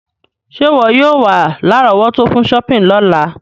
Sé wọ yio wa lárọ̀wọ́tó fun shopping lọ́la